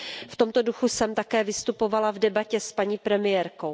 V tomto duchu jsem také vystupovala v debatě s paní premiérkou.